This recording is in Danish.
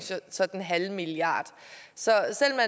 så den halve milliard så